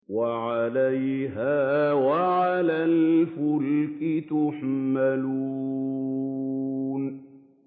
وَعَلَيْهَا وَعَلَى الْفُلْكِ تُحْمَلُونَ